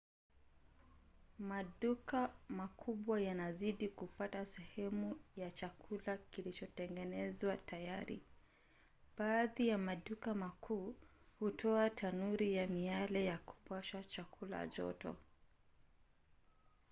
maduka makubwa yanazidi kupata seehemu ya chakula kilichotengenezwa tayari. baadhi ya maduka makuu hutoa tanuri ya miale ya kupasha chakula joto